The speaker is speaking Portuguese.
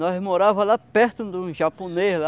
Nós morávamos lá perto de um japonês, lá.